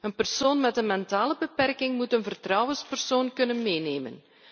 Een persoon met een mentale beperking moet een vertrouwenspersoon kunnen meenemen.